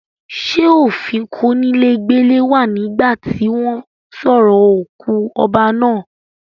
ṣé òfin kónílé gbélé wà nígbà tí wọ́n sorò òkú ọba náà.?